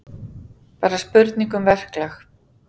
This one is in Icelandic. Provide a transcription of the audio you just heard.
Bara spurning um verklag